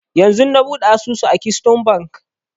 Yanzun na buɗe asusu a keystone bank